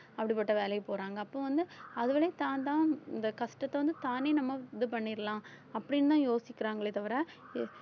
அப்படிப்பட்ட வேலைக்கு போறாங்க அப்போ வந்து தான்தான் இந்த கஷ்டத்தை வந்து தானே நம்ம இது பண்ணிரலாம் அப்படின்னுதான் யோசிக்கிறாங்களே தவிர